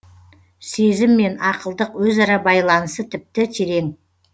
сезім мен ақылдық өзара байланысы тіпті терең